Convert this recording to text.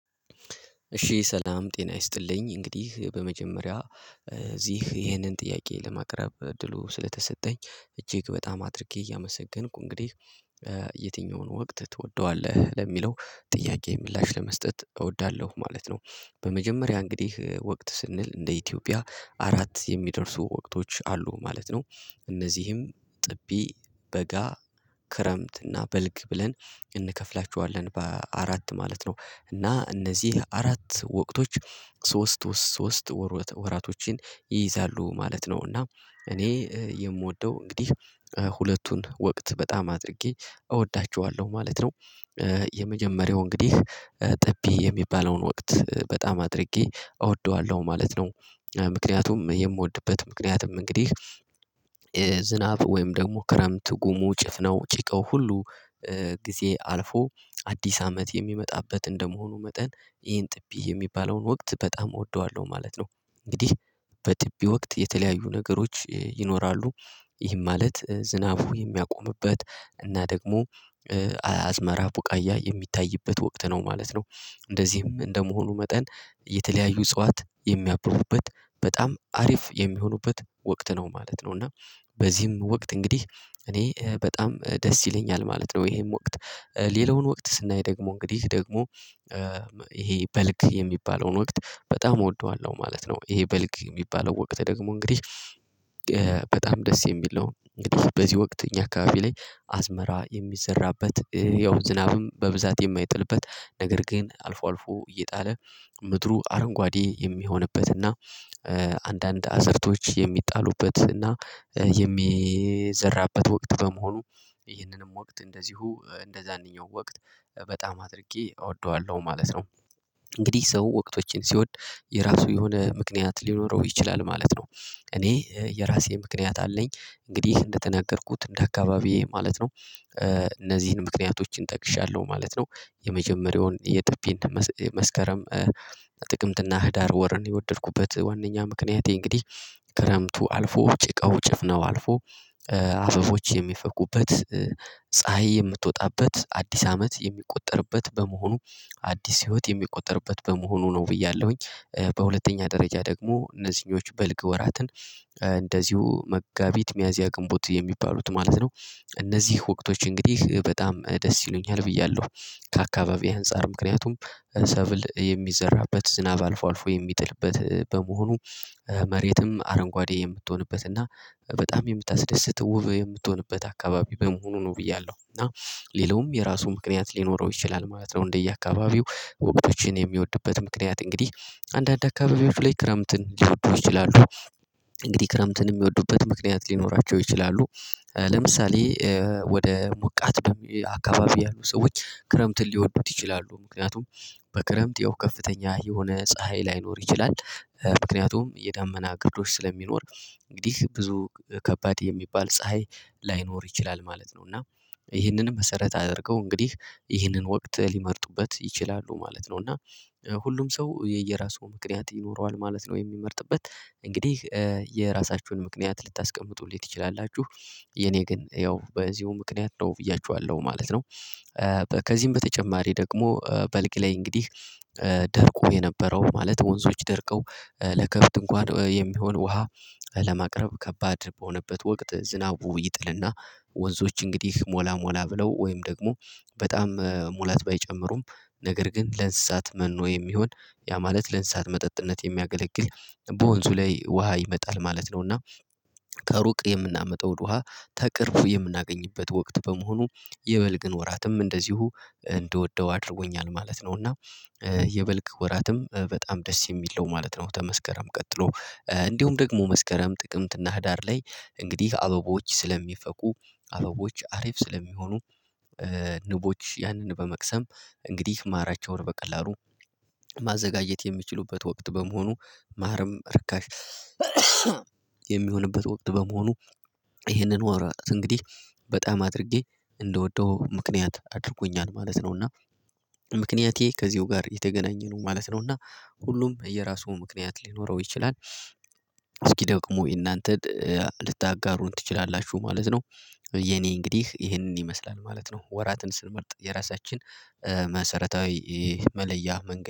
እሺ ሰላም ጤና ይስጥልኝ እንግዲህ በመጀመሪያ እዚህ ይህንን ጥያቄ ለማቅረብ እድሉ ስለተሰጠኝ እጅግ በጣም አድርጌ እያመሰገንኩ እንግዲህ የትኛውን ወቅት ትወደዋለህ ለሚለው ጥያቄ ምላሽ ለመስጠት እወዳለሁ ማለት ነው። በመጀመሪያ እንግዲህ ወቅት ስንል እንደ ኢትዮጵያ አራት የሚደርሱ ወቅቶች አሉ ማለት ነው። እነዚህም ጥቢ በጋ ክረምት እና በልግ ብለን እንከፍላቸዋለን በአራት ማለት ነው። እና እነዚህ አራት ወቅቶች ሶስት ሶስት ወራቶችን ይይዛሉ ማለት ነው። እና እኔ የምወደው እንግዲህ ሁለቱን ወቅት በጣም አድርጌ እወዳቸዋለሁ ማለት ነው። የመጀመሪያው እንግዲህ ጥቢ የሚባለውን ወቅት በጣም አድርጌ እወደዋለሁ ማለት ነው። የምወድበት ምክንያቱም እንግዲህ ዝናብ ወይም ደግሞ ክረምት ጉሙ ጭፍናው ጭቃው ሁሉ ጊዜ አልፎ አዲስ አመት የሚመጣበት እንደመሆኑ መጠን ይሄን ጥቢ የሚባለውን ወቅት በጣም እወደዋለሁ ማለት ነው። እንግዲህ በጥቢ ወቅት የተለያዩ ነገሮች ይኖራሉ ይህም ማለት ዝናቡ የሚያቆምበት እና ደግሞ አያዝመራ ቡቃያ የሚታይበት ወቅት ነው ማለት ነው። እንደዚህም እንደመሆኑ መጠን የተለያዩ እጽዋት የሚያብቡበት በጣም አሪፍ የሚሆኑበት ወቅት ነው ማለት ነው። እና በዚህም ወቅት እንግዲህ እኔ በጣም ደስ ይለኛል ማለት ነው ይሄም ወቅት። ሌላውን ወቅት ስናይ ደግሞ እንግዲህ ደግሞ ይሄ በልግ የሚባለውን ወቅት በጣም እወደዋለሁ ማለት ነው። ይሄ በልግ የሚባለው ወቅት ደግሞ እንግዲህ በጣም ደስ የሚል ነው። እንግዲህ በዚህ ወቅት እኛ አካባቢ ላይ አዝመራ የሚዘራበት ያው ዝናብም በብዛት የማይጥልበት ነገር ግን አልፎ አልፎ እየጣለ ምድሩ አረንጓዴ የሚሆንበትና አንዳንድ አዘርቶች የሚጣሉበት እና የሚዘራበት ወቅት በመሆኑ ይህንንም ወቅት እንደዚሁ እንደዛኛው ወቅት በጣም አድርጌ እወደዋለሁ ማለት ነው። እንግዲህ ሰው ወቅቶችን ሲወድ የራሱ የሆነ ምክንያት ሊኖረው ይችላል ማለት ነው። እኔ የራሴ ምክንያት አለኝ እንግዲህ እንደተናገርኩት እንደ አካባቢዬ ማለት ነው እነዚህን ምክንያቶችን ጠቅሻለሁ ማለት ነው። የመጀመሪያውን የጥቢ መስከረም ጥቅምትና ህዳር ወርን የወደድኩበት ዋናኛ ምክንያቴ እንግዲህ ክረምቱ አልፎ ጭቃው ጭፍናው አልፎ አበቦች የሚፈኩበት ፀሀይ የምትወጣበት አዲስ አመት የሚቆጠርበት በመሆኑ አዲስ ህይወት የሚቆጠርበት በመሆኑ ነው ብያለሁኝ። በሁለተኛ ደረጃ ደግሞ እነዚህኞች በልግ ወራትን እንደዚሁ መጋቢት ሚያዝያ ግንቦት የሚባሉት ማለት ነው። እነዚህ ወቅቶች እንግዲህ በጣም ደስ ይሉኛል ብያለሁ ከአካባቢው አንፃር ምክንያቱም ሰብል የሚዘራበት ዝናብ አልፎ አልፎ የሚጥልበት በመሆኑ መሬትም አረንጓዴ የምትሆንበት እና በጣም የምታስደስት ውብ የምትሆንበት አካባቢ በመሆኑ ነው ብያለሁ። እና ሌላውም የራሱ ምክንያት ሊኖረው ይችላል ማለት ነው። እንደየአካባቢው ወቅቶችን የሚወድበት ምክንያት እንግዲህ አንዳንድ አካባቢዎች ላይ ክረምትን ሊወዱ ይችላሉ። እንግዲህ ክረምትን የሚወዱበት ምክንያት ሊኖራቸው ይችላሉ። ለምሳሌ ወደ ሞቃት አካባቢ ያሉ ሰዎች ክረምትን ሊወዱት ይችላሉ ምክንያቱም በክረምት ያው ከፍተኛ የሆነ ፀሀይ ላይኖር ይችላል። ምክንያቱም የዳመና ግርዶሽ ስለሚኖር እንግዲህ ብዙ ከባድ የሚባል ፀሀይ ላይኖር ይችላል ማለት ነው። እና ይህንንም መሰረት አድርገው እንግዲህ ይህንን ወቅት ሊመርጡበት ይችላሉ ማለት ነው። እና ሁሉም ሰው የየራሱ ምክንያት ይኖረዋል ማለት ነው። የሚመርጥበት እንግዲህ የራሳችሁን ምክንያት ልታስቀምጡልኝ ትችላላችሁ? የኔ ግን ያው በዚሁ ምክንያት ነው ብያችኋለሁ ማለት ነው። ከዚህም በተጨማሪ ደግሞ በልግ ላይ እንግዲህ ደርቆ የነበረው ማለት ወንዞች ደርቀው ለከፍት እንኳን የሚሆን ውሃ ለማቅረብ ከባድ በሆነበት ወቅት ዝናቡ ይጥልና ወንዞች እንግዲህ ሞላ ሞላ ብለው ወይም ደግሞ በጣም ሙላት ባይጨምሩም ነገር ግን ለእንስሳት መኖ የሚሆን ያ ማለት ለእንስሳት መጠጥነት የሚያገለግል በወንዙ ላይ ውሃ ይመጣል ማለት ነውና ከሩቅ የምናመጣውን ውሃ ከቅርብ የምናገኝበት ወቅት በመሆኑ የበልግን ወራትም እንደዚሁ እንድወደው አድርጎኛል ማለት ነው። እና የበልግ ወራትም በጣም ደስ የሚለው ማለት ነው። ከመስከረም ቀጥሎ እንዲሁም ደግሞ መስከረም ጥቅምት እና ህዳር ላይ እንግዲህ አበቦች ስለሚፈኩ አበቦች አሪፍ ስለሚሆኑ ንቦች ያንን በመቅሰም እንግዲህ ማራቸውን በቀላሉ ማዘጋጀት የሚችሉበት ወቅት በመሆኑ ማርም ርካሽ የሚሆንበት ወቅት በመሆኑ ይህንን ወራት እንግዲህ በጣም አድርጌ እንደወደው ምክንያት አድርጎኛል ማለት ነውና። ምክንያቴ ከዚሁ ጋር የተገናኘ ነው ማለት ነው። እና ሁሉም የራሱ ምክንያት ሊኖረው ይችላል እስኪ ደግሞ የእናንተን ልታጋሩን ትችላላችሁ ማለት ነው? የኔ እንግዲህ ይሄንን ይመስላል ማለት ነው። ወራትን ስንመርጥ የራሳችን መሰረታዊ መለያ መንገድ